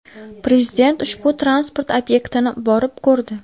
Prezident ushbu transport obyektini borib ko‘rdi.